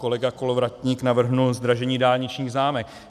Kolega Kolovratník navrhl zdražení dálničních známek.